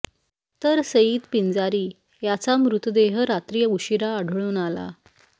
तर सईद पिंजारी याचा मृतदेह रात्री उशीरा आढळून आला